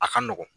A ka nɔgɔn